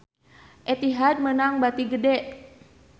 Etihad meunang bati gede